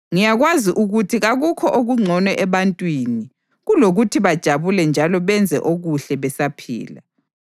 Ngiyakwazi ukuthi kakukho okungcono ebantwini kulokuthi bajabule njalo benze okuhle besaphila.